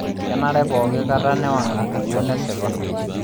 Kenare pookikata newang' enkukuo nesipa.